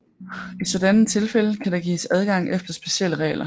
I sådanne tilfælde kan der gives adgang efter specielle regler